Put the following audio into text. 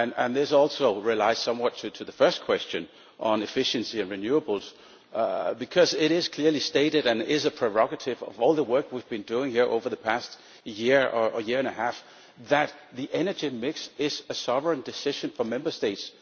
This also relates somewhat to the first question on efficiency and renewables, because it is clearly stated and it is a prerogative of all the work we have been doing here over the past year or year and a half that the energy mix is a sovereign decision for Member States.